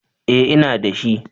Eh ina da shi.